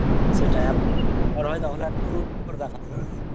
সেটা বড়ো হয় তাহলে proof করে দেখাতে হবে.